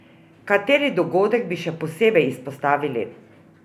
Kateri dogodek bi še posebej izpostavili?